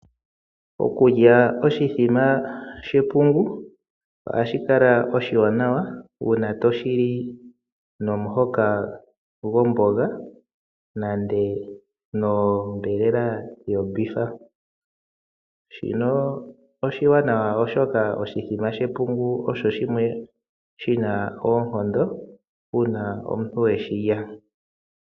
Okulya oshimbombo shepungu ohashi kala oshiwanawa uuna to shili nomuhoka gomboga nenge gonyama yongombe ya kwewa. Shino oshiwanawa oshoka oshimbombo shepungu osho shimwe shina oonkondo uuna omuntu we shi li.